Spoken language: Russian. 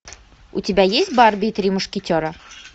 у тебя есть барби и три мушкетера